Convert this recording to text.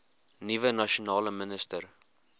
nuwe nasionale minister